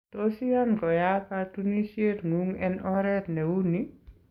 Tos iyan koyaak katunisiet ng'ung en oret neu nii?